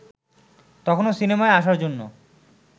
তখনও সিনেমায় আসার জন্য